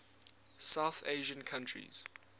south asian countries